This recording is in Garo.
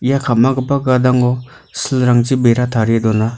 ia ka·magipa gadango silrangchi bera tarie dona.